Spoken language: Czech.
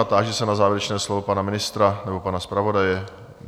A táži se na závěrečné slovo pana ministra nebo pana zpravodaje?